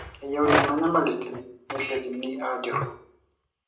keyieu nena nyamalitin nesiokini ajuru